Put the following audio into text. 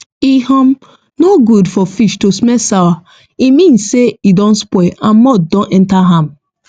e um no good for fish to smell sour e mean say e don spoil and mould don enter am